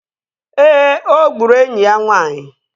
Ee, ọ gburu enyi ya nwaanyị